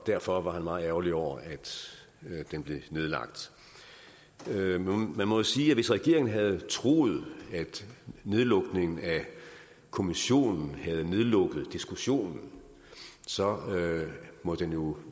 derfor var han meget ærgerlig over at den blev nedlagt man må sige at hvis regeringen havde troet at nedlukningen af kommissionen havde nedlukket diskussionen så må den jo